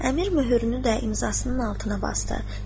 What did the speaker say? Əmir möhürünü və imzasının altına basdı.